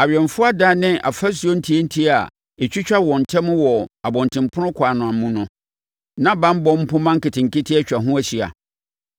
Awɛmfoɔ adan ne afasuo ntiantia a ɛtwitwa wɔn ntam wɔ abɔntenpono ɛkwan no mu no, na banbɔ mpomma nketenkete atwa ho ahyia,